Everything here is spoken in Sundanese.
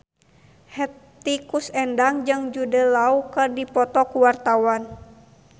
Hetty Koes Endang jeung Jude Law keur dipoto ku wartawan